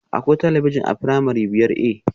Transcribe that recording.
Akwai talabijin a firamare biyar A?